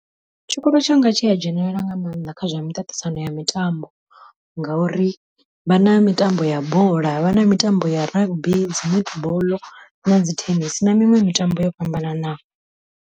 Tshikolo tshanga tshi a dzhenelela nga maanḓa kha zwa miṱaṱisano ya mitambo, ngauri vha na mitambo ya bola vha na mitambo ya rugby, dzi netball na dzi thenisi na miṅwe mitambo yo fhambananaho.